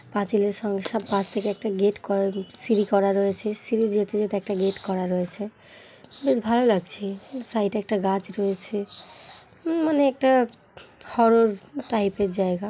পাঁচিলের সঙ্গ সব পাশ থেকে একটা গেট করা উ সিঁড়ি করা রয়েছে সিঁড়ি যেতে যেতে একটা গেট করা রয়েছে বেশ ভাল লাগছে। সাইডে একটা গাছ রয়েছে উমম মানে একটা ঠ হরর টাইপের জায়গা।